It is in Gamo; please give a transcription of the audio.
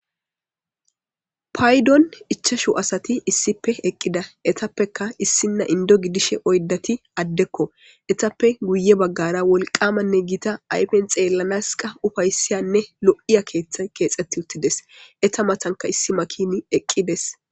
Paydon ichashu asati issipe eqida etapeka issina Indo gidishe oydati adeko etape guye bagara wolqamanne gita ayfen xelanas ufaysiyanne lo'iya kethay kexeti utides eta matanika issi makini eqides.